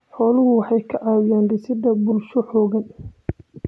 Xooluhu waxay ka caawiyaan dhisidda bulsho xooggan.